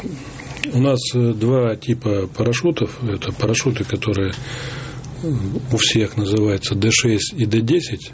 у нас два типа парашютов это парашюты которые у всех называются д шесть и д десять